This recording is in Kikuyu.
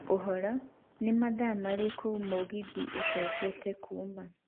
ũhoro nĩ thaa mathaa marĩkũ mũgithi ũcokete kuuma